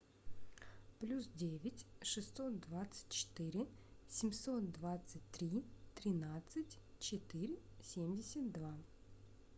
плюс девять шестьсот двадцать четыре семьсот двадцать три тринадцать четыре семьдесят два